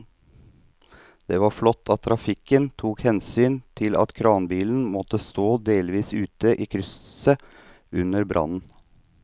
Det var flott at trafikken tok hensyn til at kranbilen måtte stå delvis ute i krysset under brannen.